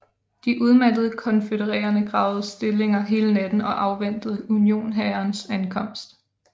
De udmattede konfødererede gravede stillinger hele natten og afventede unionshærens ankomst